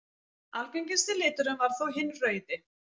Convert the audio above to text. Algengasti liturinn varð þó hinn rauði.